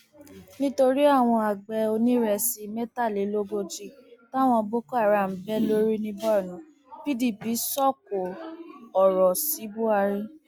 nítorí àwọn àgbẹ onírésì mẹtàlélógójì táwọn boko haram bẹ lórí ní borno pdp sọkò ọrọ sí buhari